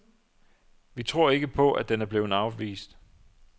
Vi tror ikke på, at den er blevet afvist.